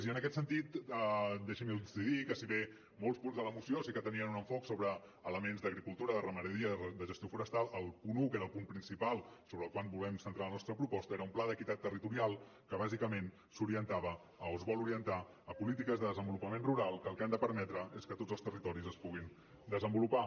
i en aquest sentit deixin me dir los que si bé molts punts de la moció sí que tenien un enfoc sobre elements d’agricultura de ramaderia de gestió forestal el punt un que era el punt principal sobre el qual volem centrar la nostra proposta era un pla d’equitat territorial que bàsicament s’orientava o es vol orientar a polítiques de desenvolupament rural que el que han de permetre és que tots els territoris es puguin desenvolupar